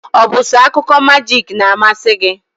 Ọ bụ so akụkọ majik n'amasi gị?